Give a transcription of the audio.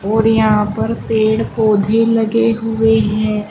और यहां पर पेड़ पौधे लगे हुए हैं।